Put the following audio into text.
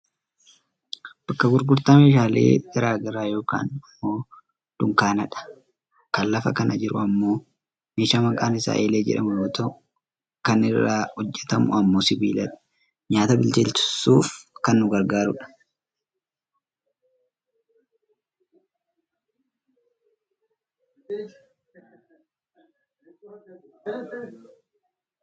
Bakka gurgurtaa meeshaalee gara garaa yookaan ammoo dunkaanadha. Kan lafa kana jiru ammoo meeshaa maqaan isaa eelee jedhamu yoo ta'u kan inni irraa hojjatamu ammoo sibiiladha. Nyaata bilcheessuuf kan nu gargaaruudha.